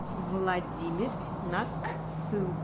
владимир наксыл